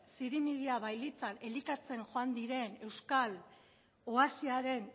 zirimiria bailitzan elikatzen joan diren euskal oasiaren